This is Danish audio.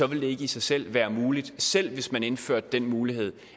vil det ikke i sig selv være muligt selv hvis man indførte den mulighed